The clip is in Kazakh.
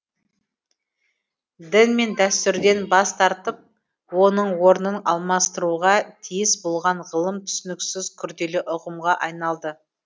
дін мен дәстүрден бас тартып оның орнын алмастыруға тиіс болған ғылым түсініксіз күрделі ұғымға айналды